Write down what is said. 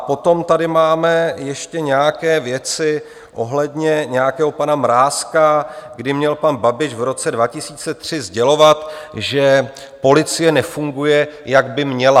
A potom tady máme ještě nějaké věci ohledně nějakého pana Mrázka, kdy měl pan Babiš v roce 2003 sdělovat, že policie nefunguje, jak by měla.